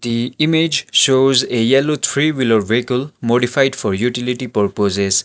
the image shows a yellow three wheeler vehicle modified for utility purposes.